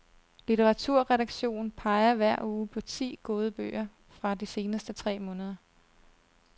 Litteraturredaktion peger hver uge på ti gode bøger fra de seneste tre måneder.